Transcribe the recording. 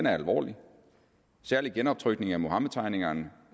er alvorlig særlig genoptrykningen af muhammedtegningerne